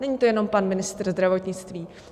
Není to jenom pan ministr zdravotnictví.